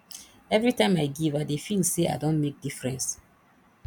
every time i give i dey feel say i don make difference